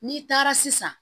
N'i taara sisan